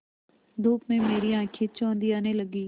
धूप में मेरी आँखें चौंधियाने लगीं